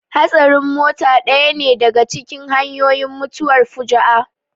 Hatsarin mota ɗaya ne daka cikin hanyoyin mutuwar fuju'a